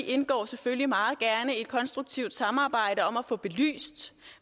indgår selvfølgelig meget gerne i et konstruktivt samarbejde om at få belyst